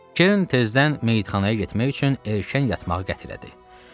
Kerrin tezdən meyitxanaya getmək üçün erkən yatmağa qətlədi.